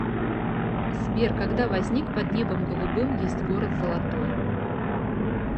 сбер когда возник под небом голубым есть город золотой